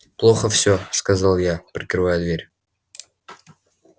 плохо все сказал я прикрывая дверь